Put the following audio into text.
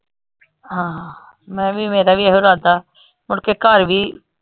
ਹਾਂ ਮੈਂ ਵੀ ਮੇਰਾ ਵੀ ਇਹੋ ਇਰਾਦਾ ਆ ਮੁੜਕੇ ਘਰ ਵੀ,